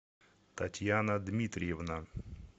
татьяна дмитриевна